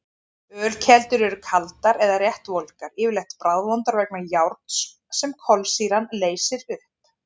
Ölkeldur eru kaldar eða rétt volgar, yfirleitt bragðvondar vegna járns sem kolsýran leysir upp.